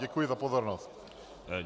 Děkuji za pozornost.